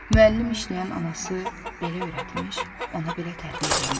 müəllim işləyən anası belə öyrətmiş, ona belə tərbiyə vermişdi.